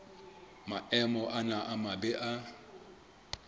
maemo ana a mabe a